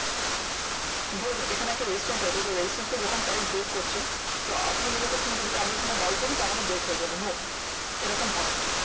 Then এখানে একটা resistance আছে ওই resistance টা যখন price break করছে, তো আপনি মনে করছেন যদি আমি এইখানে buy করি তাহলে break হয়ে যাবে, no. এরকম হয় না।